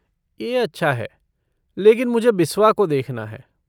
ये अच्छा है, लेकिन मुझे बिस्वा को देखना है।